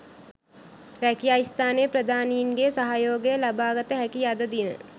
රැකියා ස්ථානයේ ප්‍රධානීන්ගේ සහයෝගය ලබාගත හැකි අද දින